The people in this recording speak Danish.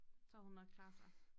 Så havde hun nok klaret sig